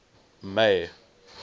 may